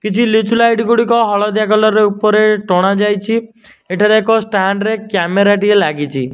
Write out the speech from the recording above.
କିଛି ଲିଚୁ ଲାଇଟ ଗୁଡିକ ହଳଦିଆ କଲର ଉପରେ ଟଣା ଯାଇଚି ଏଠାରେ ଏକ ଷ୍ଟାଣ୍ଡରେ କ୍ୟାମେରା ଟିଏ ଲାଗିଚି।